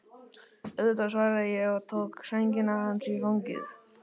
Auðvitað, svaraði ég og tók sængina hans í fangið.